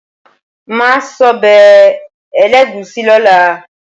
Màá sọ́bẹ̀ ẹlẹ́gùúsí lọ́la.